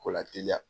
Ko lateliya